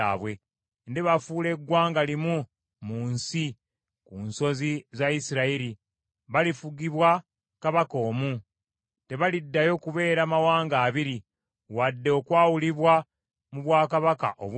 Ndibafuula eggwanga limu mu nsi, ku nsozi za Isirayiri. Balifugibwa kabaka omu, tebaliddayo kubeera mawanga abiri, wadde okwawulibwa mu bwakabaka obubiri.